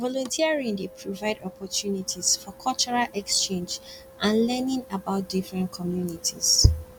volunteering dey provide opportunties for cultural exchange and learning about different communities